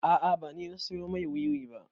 A'a ba ni na siyo mai wiwi ba